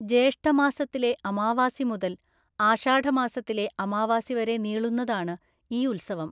ജേഷ്ഠമാസത്തിലെ അമാവാസി മുതല്‍ ആഷാഢമാസത്തിലെ അമാവാസി വരെ നീളുന്നതാണ് ഈ ഉത്സവം.